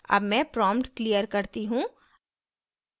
अब मैं prompt clear करती हूँ